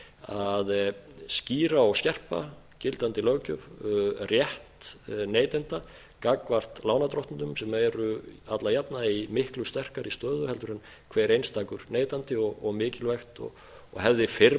að skýra og skerpa gildandi löggjöf rétt neytenda gagnvart lánardrottnum sem eru alla jafna í miklu sterkari stöðu heldur en hver einstakur neytandi og mikilvægt og hefði fyrr